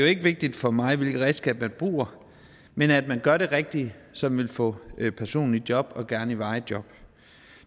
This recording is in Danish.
ikke vigtigt for mig hvilke redskaber man bruger men at man gør det rigtige som vil få personen i job og gerne i et varigt job